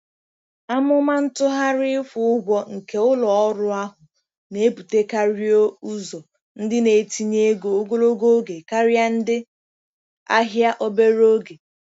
Amụma ntụgharị ịkwụ ụgwọ nke ụlọ ọrụ ahụ na-ebutekarịọ́ ụzọ ndị na-etinye ego ogologo oge karịa ndị ahịa obere oge.